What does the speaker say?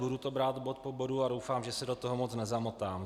Budu to brát bod po bodu a doufám, že se do toho moc nezamotám.